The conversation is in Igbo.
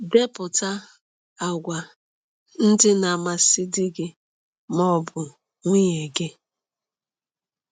Depụta àgwà ndị na-amasị di gị ma ọ bụ nwunye gị.